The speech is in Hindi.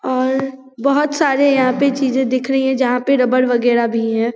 और बहोत सारे यहां पे चीजे दिख रही है जहां पे रबर वगेरा भी है।